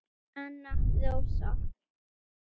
Anna Rósa.